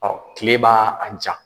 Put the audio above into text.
Ɔw tile b'a ja